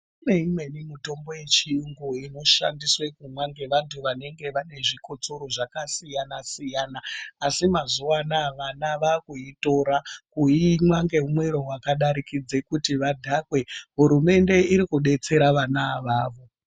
Kune imweni mitombo yechiyungu inoshandiswe kumwa ngevantu vanenge vane zvikotsoro zvakasiyana -siyana asi mazuwa anaya vana vakuitora kuimwa ngemwero wakadarikidza kuti vadhakwe. Hurumende irikudesera vana ava.